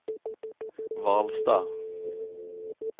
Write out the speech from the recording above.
Hvalstad